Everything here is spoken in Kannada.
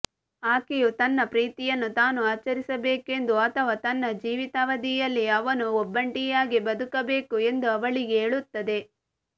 ಆಕೆಯು ತನ್ನ ಪ್ರೀತಿಯನ್ನು ತಾನು ಆಚರಿಸಬೇಕೆಂದು ಅಥವಾ ತನ್ನ ಜೀವಿತಾವಧಿಯಲ್ಲಿ ಅವನು ಒಬ್ಬಂಟಿಯಾಗಿ ಬದುಕಬೇಕು ಎಂದು ಅವಳಿಗೆ ಹೇಳುತ್ತದೆ